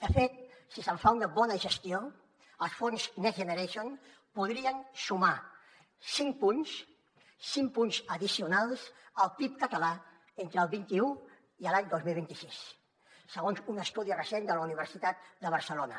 de fet si se’n fa una bona gestió els fons next generation podrien sumar cinc punts cinc punts addicionals al pib català entre el vint un i l’any dos mil vint sis segons un estudi recent de la universitat de barcelona